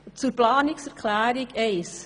Zur Planungserklärung 1: